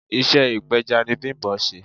Iṣẹ́ ipeja ni Bimbo ń ṣe.